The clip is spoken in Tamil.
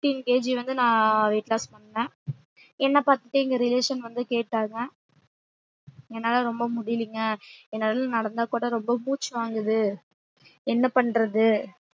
fifteen kg வந்து நான் weight loss பண்ணேன் என்ன பாத்து என் relation வந்து கேட்டாங் என்னால ரொம்ப முடிலிலங்க என்னால நடந்தா கூட ரொம்ப மூச்சு வாங்குது என்ன பண்றது